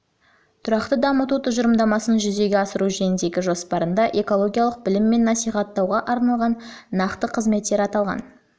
тұрақты дамыту тұжырымдамасын жүзеге асыру жөніндегі жоспарында экологиялық білім мен насихаттауға арналған нақты қызметтер аталған